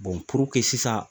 puruke sisan